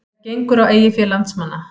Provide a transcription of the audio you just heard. Það gengur á eigið fé landsmanna